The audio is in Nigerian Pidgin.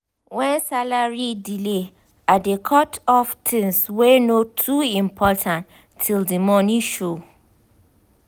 when salary delay i dey cut off things wey no too important till the money show.